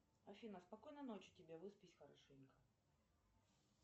афина спокойной ночи тебе выспись хорошенько